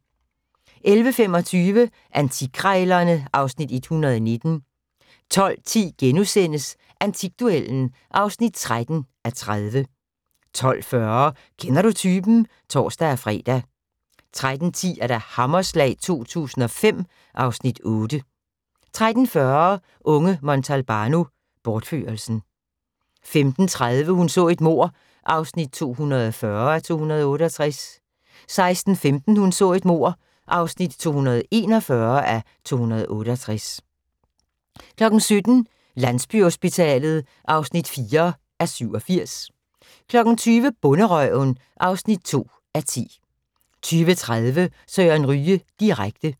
11:25: Antikkrejlerne (Afs. 119) 12:10: Antikduellen (13:30)* 12:40: Kender du typen? (tor-fre) 13:10: Hammerslag 2005 (Afs. 8) 13:40: Unge Montalbano: Bortførelsen 15:30: Hun så et mord (240:268) 16:15: Hun så et mord (241:268) 17:00: Landsbyhospitalet (4:87) 20:00: Bonderøven (2:10) 20:30: Søren Ryge direkte